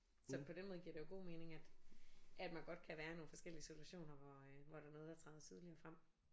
Så på den måde giver det jo god mening at at man godt kan være i nogle forskellige situationer hvor øh hvor der er noget der træder tydeligere frem